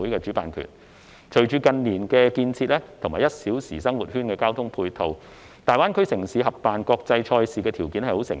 隨着近年的建設及"一小時生活圈"的交通配套形成，大灣區城市合辦國際賽事的條件成熟。